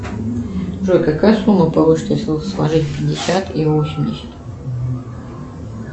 джой какая сумма получится если сложить пятьдесят и восемьдесят